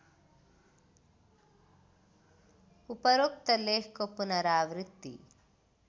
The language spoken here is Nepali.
उपरोक्त लेखको पुनरावृत्ति